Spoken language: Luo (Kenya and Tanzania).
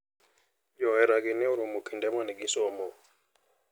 Johera gi ne oromo kinde mane gisomo.